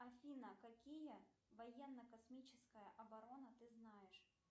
афина какие военно космическая оборона ты знаешь